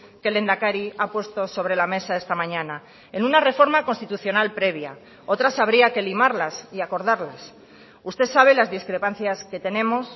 que el lehendakari ha puesto sobre la mesa esta mañana en una reforma constitucional previa otras habría que limarlas y acordarlas usted sabe las discrepancias que tenemos